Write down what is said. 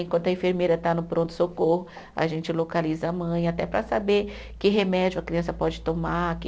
Enquanto a enfermeira está no pronto-socorro, a gente localiza a mãe, até para saber que remédio a criança pode tomar, que.